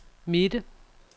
midte